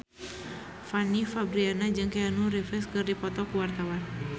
Fanny Fabriana jeung Keanu Reeves keur dipoto ku wartawan